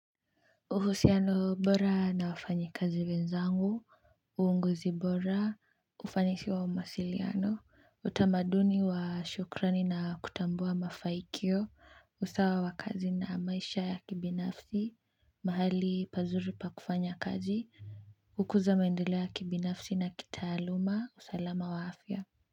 Uhusiano bora na wafanyikazi wenzangu uongozi bora ufanisi wa mawasiliano utamaduni wa shukrani na kutambua mafanikio usawa wa kazi na maisha ya kibinafsi mahali pazuri pa kufanya kazi kukuza maendeleo ya kibinafsi na kitaaluma, usalama wa afya.